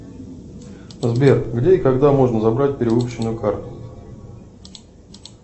сбер где и когда можно забрать перевыпущенную карту